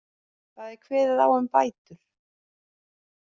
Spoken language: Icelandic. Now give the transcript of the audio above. Þar er kveðið á um bætur